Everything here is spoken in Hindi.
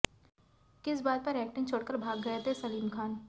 किस बात पर एक्टिंग छोड़कर भाग गए थे सलीम खान